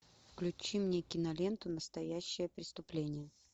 включи мне киноленту настоящее преступление